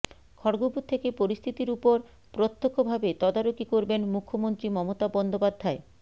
খড়্গপুর থেকে পরিস্থিতির ওপর প্রত্যক্ষভাবে তদারকি করবেন মুখ্যমন্ত্রী মমতা বন্দ্যোপাধ্যায়